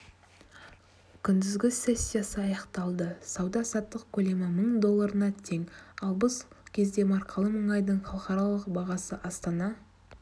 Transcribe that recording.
күндізгі сессиясы аяқталды сауда-саттық көлемі мың долларына тең ал бұл кезде маркалы мұнайдың халықаралық бағасы астана